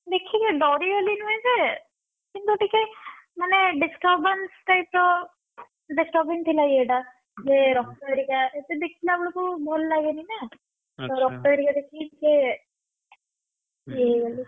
ଦେଖିକି ଡରି ଗଲି ନୁହେଁ ଯେ, କିନ୍ତୁ ଟିକେ ମାନେ disturbance type ର disturbing ଥିଲା ଇଏଟା, ରକ୍ତ ହରିକା ଏତେ ଦେଖିଲା ବେଳକୁ ଭଲ ଲାଗେନି ନା ରକ୍ତ ହରିକା ଦେଖିକି ଟିକେ ।